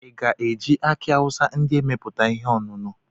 Ị ga-eji aki awusa ndị a meputa ihe ọṅụṅụ?